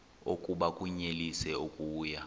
oku bakunyelise okuya